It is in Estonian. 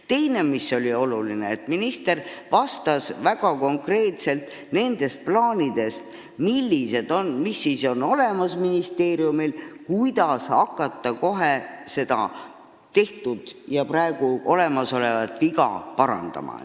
Teine oluline asi on see, et minister vastas väga konkreetselt nende plaanide kohta, mis on ministeeriumil olemas, st kuidas hakata seda tehtud ja praegu olemasolevat viga parandama.